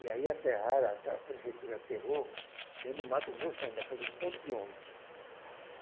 E aí aterraram, até a prefeitura aterrou, dentro do mato grosso ainda faziam um ponto de ônibus.